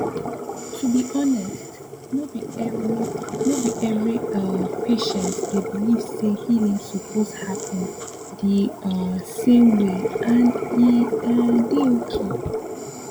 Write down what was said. to be honest no be every no be every um patient dey believe say healing suppose happen the um same wayand e um dey okay